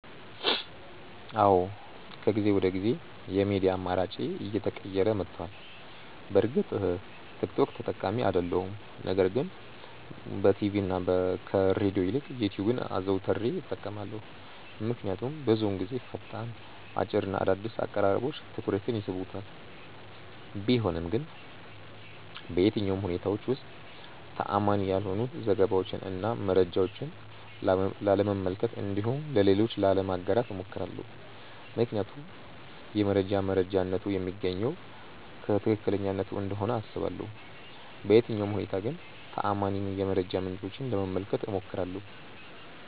አዎ ከጊዜ ወደ ጊዜ የሚዲያ አማራጬ እየተቀየረ መቷል። በእርግጥ ቲክ ቶክ ተጠቃሚ አይደለሁም ነገር ግን በቲቪ እና ከሬድዮ ይልቅ ዩትዩብን አዘውትሬ እጠቀማለሁ። ምክንያቱም ብዙውን ጊዜ ፈጣን፣ አጭር እና አዳዲስ አቀራረቦች ትኩረቴን ይስቡታል። ቢሆንም ግን በየትኛውም ሁኔታዎች ውስጥ ተአማኒ ያልሆኑ ዘገባዎችን እና መረጃዎችን ላለመመልከት እንዲሁም ለሌሎች ላለማጋራት እሞክራለሁ። ምክንያቱም የመረጃ መረጃነቱ የሚገኘው ከትክክለኛነቱ እንደሆነ አስባለሁ። በየትኛውም ሁኔታ ግን ተአማኒ የመረጃ ምንጮችን ለመመልከት እሞክራለሁ።